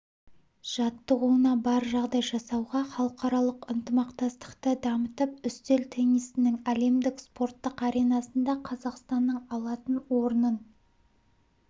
жаттығуына бар жағдай жасауға халықаралық ынтымақтастықты дамытып үстел теннисінің әлемдік спорттық аренасында қазақстанның алатын орнын